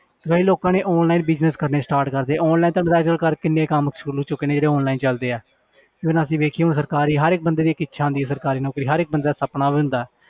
ਕਈ ਲੋਕਾਂ ਨੇ online business ਕਰਨੇ start ਕਰ ਦਿੱਤੇ online ਤੁਹਾਨੂੰ ਪਤਾ ਅੱਜ ਕੱਲ੍ਹ ਘਰ ਕਿੰਨੇ ਕੰਮ ਸ਼ੁਰੂ ਹੋ ਚੁੱਕੇ ਨੇ ਜਿਹੜੇ online ਚੱਲਦੇ ਆ ਜੇ ਹੁਣ ਅਸੀਂ ਵੇਖੀਏ ਹੁਣ ਸਰਕਾਰੀ ਹਰ ਇੱਕ ਬੰਦੇ ਦੀ ਇੱਕ ਇੱਛਾ ਹੁੰਦੀ ਹੈ ਸਰਕਾਰੀ ਨੌਕਰੀ ਹਰ ਇੱਕ ਬੰਦੇ ਦਾ ਸਪਨਾ ਵੀ ਹੁੰਦਾ